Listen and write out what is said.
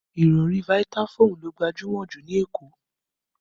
Ìrọ̀rí Vitafoam ló gbajúmọ̀ ju ní Èkó